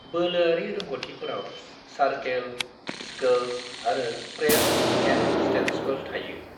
बोलोआरि रोंग'थिफोराव circle, scales आरो press हेन्डस्टेन्ड्सफोर थायो।